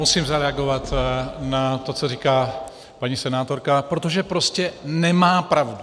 Musím zareagovat na to, co říká paní senátorka, protože prostě nemá pravdu.